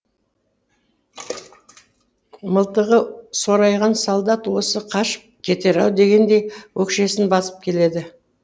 мылтығы сорайған солдат осы қашып кетер ау дегендей өкшесін басып келеді